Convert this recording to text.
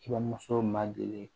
Kuramuso ma deli